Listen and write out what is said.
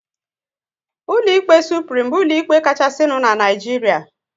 Ụlọ ikpe Suprim bụ ụlọ ikpe kachasinu n'Naijiria